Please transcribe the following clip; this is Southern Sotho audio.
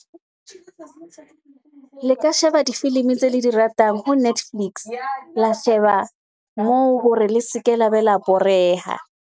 Le ka sheba difilimi tse le di ratang ho Netflix. La sheba moo hore le seke la be la boreha.